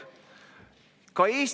Austatud kolleegid!